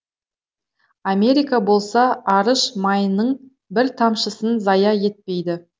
америка болса арыш майының бір тамшысын зая етпейді